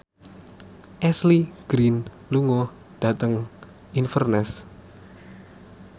Ashley Greene lunga dhateng Inverness